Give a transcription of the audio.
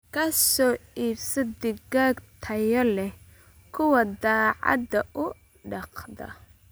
Ka soo iibso digaag tayo leh kuwa daacadda u dhaqda.